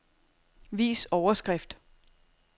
Vis overskrift.